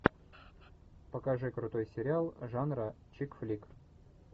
покажи крутой сериал жанра чикфлик